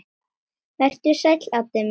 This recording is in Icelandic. Vertu sæll, Addi minn.